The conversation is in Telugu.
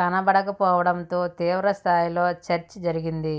కనపడకపోవడంతో తీవ్రస్థాయిలో చర్చ జరిగింది